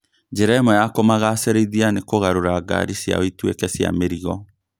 Njĩra ĩmwe ya kũmagacĩrithia nĩ kũgarũra ngari ciao ituĩke cia mĩrogo